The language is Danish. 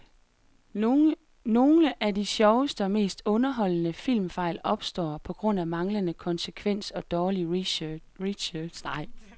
Nogle af de sjoveste og mest underholdende filmfejl opstår på grund af manglende konsekvens og dårlig research.